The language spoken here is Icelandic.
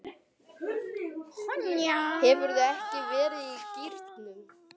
Hefurðu ekki verið í gírnum?